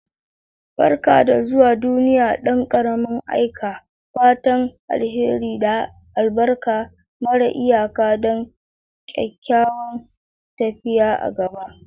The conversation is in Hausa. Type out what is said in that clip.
Barka da zuwa duniya, dan ƙarami! Aika fatan alheri da albarka mara iyaka don kyakkyawan tafiya a gaba.